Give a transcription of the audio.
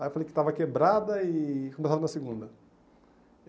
Aí eu falei que estava quebrada e começava na segunda.